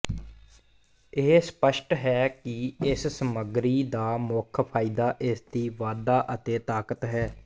ਇਹ ਸਪੱਸ਼ਟ ਹੈ ਕਿ ਇਸ ਸਮੱਗਰੀ ਦਾ ਮੁੱਖ ਫਾਇਦਾ ਇਸਦੀ ਵਾਧਾ ਅਤੇ ਤਾਕਤ ਹੈ